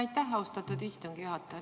Aitäh, austatud istungi juhataja!